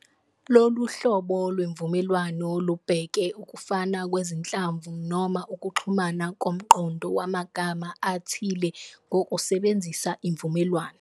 Lolu hlobo lwemvumelwano lubheka ukufana kwezinhlamvu noma ukuxhumana komqondo wamagama athile ngokusebenzisa imvumelwano.